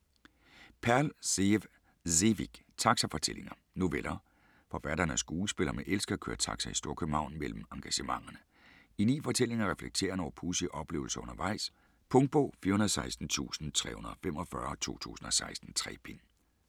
Perl, Zeév Sevik: Taxafortællinger Noveller. Forfatteren er skuespiller, men elsker at køre taxa i Storkøbenhavn mellem engagementerne. I 9 fortællinger reflekterer han over pudsige oplevelser undervejs. Punktbog 416345 2016. 3 bind.